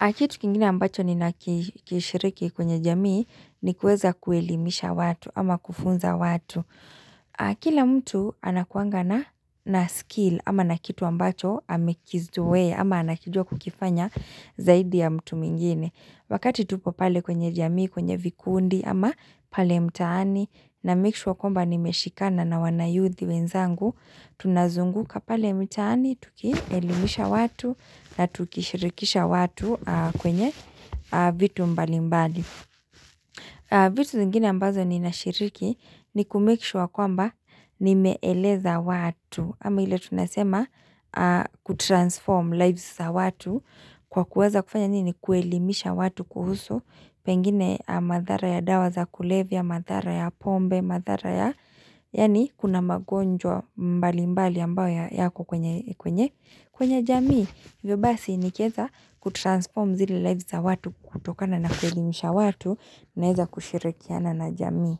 Na kitu kingine ambacho ninakishiriki kwenye jamii ni kueza kuelimisha watu ama kufunza watu Kila mtu anakuangana na skill ama na kitu ambacho amekizoea ama anakijua kukifanya zaidi ya mtu mwingine Wakati tupo pale kwenye jamii kwenye vikundi ama pale mtaani na make sure kwamba nimeshikana na wanayuthi wenzangu Tunazunguka pale mtaani tukielimisha watu na tukishirikisha watu kwenye vitu mbali mbali vitu zingine ambazo ninashiriki ni kumake sure kwamba nimeeleza watu kama ile tunasema kutransform lives za watu kwa kueza kufanya nini kuelimisha watu kuhusu Pengine madhara ya dawa za kulevya madhara ya pombe madhara ya Yaani kuna magonjwa mbali mbali ambayo yako kwenye kwenye jamii hivyo basi nikieza kutransform zile lives za watu kutokana na kuelimisha watu Naeza kushirikiana na jamii.